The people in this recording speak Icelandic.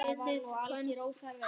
Áliðið kvölds.